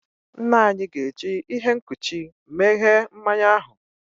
Nna anyi ga-eji ihe nkuchi meghee mmanya ahu.